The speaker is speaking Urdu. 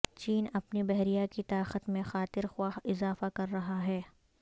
چین اپنی بحریہ کی طاقت میں خاطر خواہ اضافہ کر رہا ہے